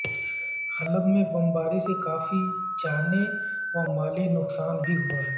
حلب میں بمباری سے کافی جانی و مالی نقصان بھی ہوا ہے